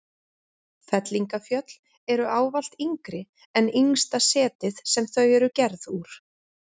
Fellingafjöll eru ávallt yngri en yngsta setið sem þau eru gerð úr.